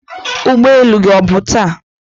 ụgbọ elu gị ọ bụ taa?